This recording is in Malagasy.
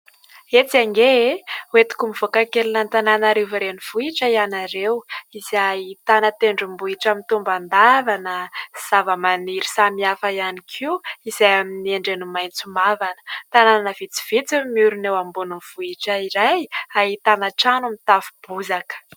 Etsy ange e ! Hoentiko mivoaka kely an'Antananarivo renivohitra ianareo izay ahitana tendrombohitra mitombandavana, zavamaniry samihafa ihany koa izay amin'ny endriny maitso mavana. Tanàna vitsivitsy no miorina eo ambonin'ny vohitra iray ahitana trano mitafo bozaka.